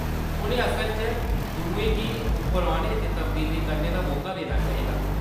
उʼनें असल च दुएं गी उप्पर औने ते तब्दीली करने दा मौका देना चाहिदा।